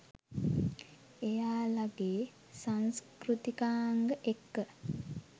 එයාලගෙ සංස්කෘතිකාංග එක්ක